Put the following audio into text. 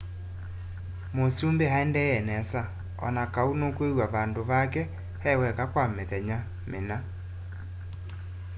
mũsũmbĩ aendee nesa onakaũ nũkwĩwa vandũ vake eweka kwa mĩthenya mĩna